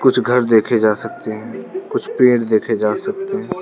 कुछ घर देखे जा सकते हैं कुछ पेड़ देखे जा सकते हैं।